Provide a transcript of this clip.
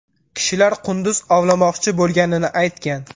Kishilar qunduz ovlamoqchi bo‘lganini aytgan.